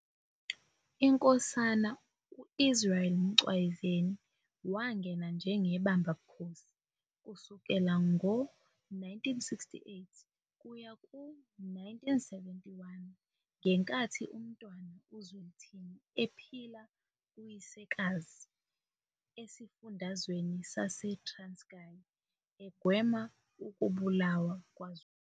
INkosana U-Israel Mcwayizeni wangena njengebamba bukhosi kusukela ngo-1968 kuya ku-1971 ngenkathi uMntwana uZwelithini ephila kuyisekazi esifundazweni saseTranskai egwema ukubulawa kwaZulu.